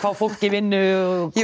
fólk í vinnu og